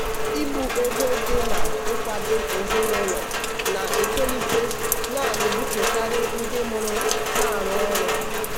ibu ego dị na-ịkwado ezinụlọ na-etolite na-ebutekarị ndị mụrụ na-arụ ọrụ.